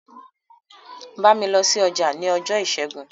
Bámi lọ sí ọjà ní ọjọ́ ìṣẹ́gun!